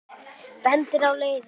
Bendir á leiðir.